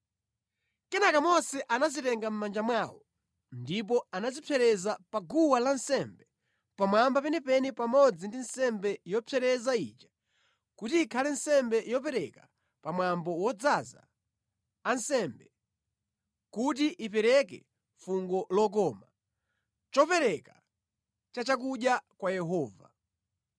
Kenaka Mose anazitenga mʼmanja mwawo ndipo anazipsereza pa guwa lansembe pamwamba penipeni pamodzi ndi nsembe yopsereza ija kuti ikhale nsembe yopereka pamwambo wodzoza ansembe, kuti ipereke fungo lokoma, chopereka chachakudya kwa Yehova.